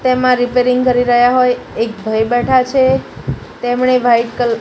તેમા રિપેરિંગ કરી રહ્યા હોઈ એક ભઈ બેઠા છે તેમણે વ્હાઈટ કલર --